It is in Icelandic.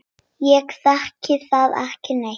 Ég þekki þá ekki neitt.